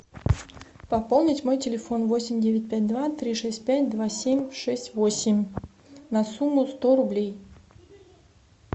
пополнить мой телефон восемь девять пять два три шесть пять два семь шесть восемь на сумму сто рублей